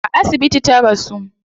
A asibiti ta rasu